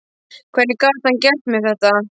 Hvernig gat hann gert mér þetta?